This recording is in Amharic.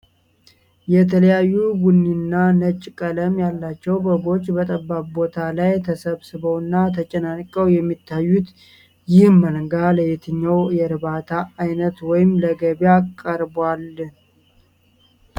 የተለያየ ቡኒና ነጭ ቀለም ያላቸው በጎች በጠባብ ቦታ ላይ ተሰባስበውና ተጨናንቀው የሚታዩት፣ ይህ መንጋ ለየትኛው የእርባታ ዓይነት ወይም ለገበያ ቀርቧል?